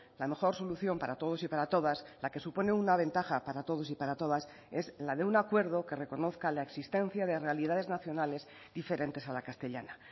la mejor solución para todos y para todas la que supone una ventaja para todos y para todas es la de un acuerdo que reconozca la existencia de realidades nacionales diferentes a la castellana